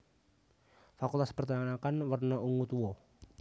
Fakultas Perternakan werna ungu tua